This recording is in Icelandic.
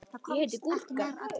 Hann kvað það vera herskip sín.